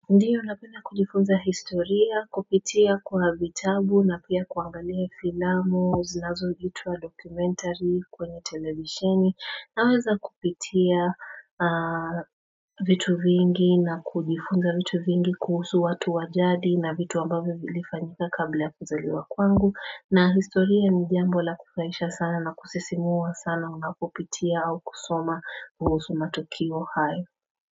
Ndiyo napena kujifunza historia, kupitia kwa vitabu na pia kuangalia filamu, zinazoitwa documentary kwenye televisheni. Naweza kupitia vitu vingi na kujifunza vitu vingi kuhusu watu wa jadi na vitu ambavyo vilifanyika kabla ya kuzaliwa kwangu. Na historia ni jambo la kufurahisha sana na kusisimua sana unapopitia au kusoma kuhusu matukio hayo.